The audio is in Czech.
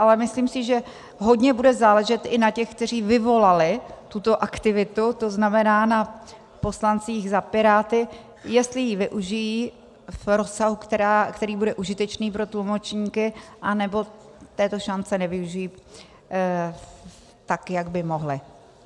Ale myslím si, že hodně bude záležet i na těch, kteří vyvolali tuto aktivitu, to znamená na poslancích za Piráty, jestli ji využijí v rozsahu, který bude užitečný pro tlumočníky, anebo této šance využijí, tak jak by mohli.